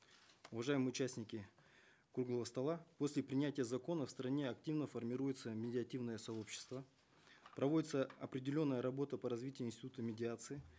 уважаемые участники круглого стола после принятия закона в стране активно формируется медиативное сообщество проводится определенная работа по развитию института медиации